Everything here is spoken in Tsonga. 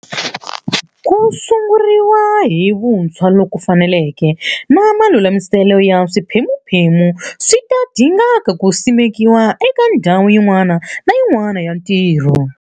Ku sunguriwa hi vuntshwa loku faneleke na malulamiselo ya swiphemuphemu swi ta dinga ku simekiwa eka ndhawu yin'wana na yin'wana ya ntirho.